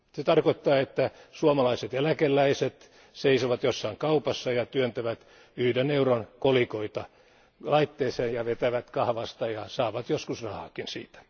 Se tarkoittaa, että suomalaiset eläkeläiset seisovat jossain kaupassa ja työntävät yhden euron kolikoita laitteeseen ja vetävät kahvasta ja saavat joskus rahaakin siitä.